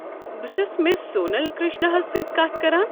بہٕ چھُس مِس سونل کرٛشنا ہس سۭتۍ کتھ کران؟